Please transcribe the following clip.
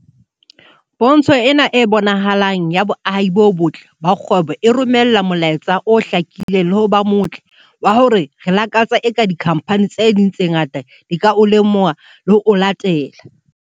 "Pontsho ena e bonahalang ya boahi bo botle ba kgwebo e romela molaetsa o hlakileng le ho ba motle wa hore re lakatsa eka dikhamphani tse ding tse ngata di ka o lemoha le ho o latela."